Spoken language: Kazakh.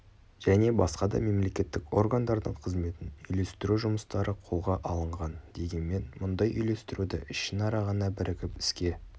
және басқа да мемлекеттік органдардың қызметін үйлестіру жұмыстары қолға алынған дегенмен мұндай үйлестіруді ішінара ғана бірігіп іске